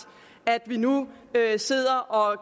at vi nu sidder og